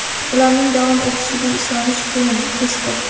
ularning davom etishiga ishonish qiyin – Peskov.